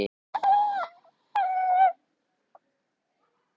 Kristján Már: En það er stemning í kringum þetta?